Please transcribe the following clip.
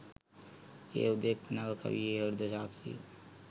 එය හුදෙක් නව කවියේ හෘද සාක්ෂිය